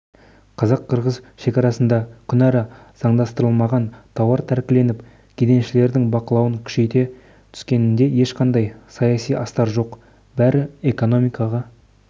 қазақ-қырғыз шекарасында күнара заңдастырылмаған тауар тәркіленіп кеденшілердің бақылауды күшейте түскенінде ешқандай саяси астар жоқ бәрі экономикаға